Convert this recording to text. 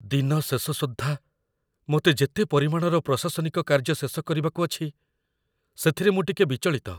ଦିନ ଶେଷ ସୁଦ୍ଧା ମୋତେ ଯେତେ ପରିମାଣର ପ୍ରଶାସନିକ କାର୍ଯ୍ୟ ଶେଷ କରିବାକୁ ଅଛି, ସେଥିରେ ମୁଁ ଟିକେ ବିଚଳିତ।